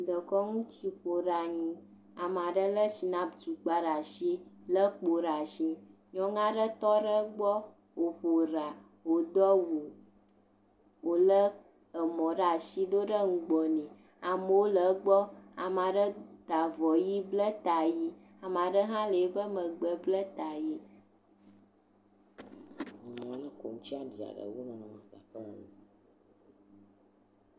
Dekɔnutsiƒoɖeanyi. Ame aɖe lé shinapu tukpa ɖe asi, le kpo ɖe asi. Nyɔnu aɖe tɔ ɖe egbɔ, woƒo ɖa, wodo awu, wole emɔ ɖe asi doɖe nu gbɔ nɛ. Amewo le egbɔ. Ame aɖe ta avɔ ʋi, ble tsa ʋi, ame aɖe hã le eƒe megbe ble ta ʋi.